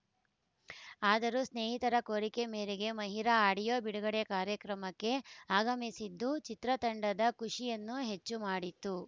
ಆದರೂ ಸ್ನೇಹಿತರ ಕೋರಿಕೆ ಮೇರೆಗೆ ಮಹಿರ ಆಡಿಯೋ ಬಿಡುಗಡೆ ಕಾರ್ಯಕ್ರಮಕ್ಕೆ ಆಗಮಿಸಿದ್ದು ಚಿತ್ರತಂಡದ ಖುಷಿಯನ್ನು ಹೆಚ್ಚು ಮಾಡಿತ್ತು